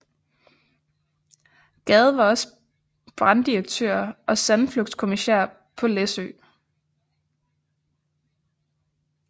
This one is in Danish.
Gad var også branddirektør og sandflugtskommissær på Læsø